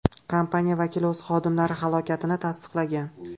Kompaniya vakili o‘z xodimlari halokatini tasdiqlagan.